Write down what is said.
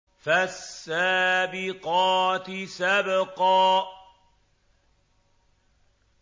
فَالسَّابِقَاتِ سَبْقًا